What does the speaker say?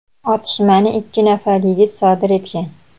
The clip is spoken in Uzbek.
otishmani ikki nafar yigit sodir etgan.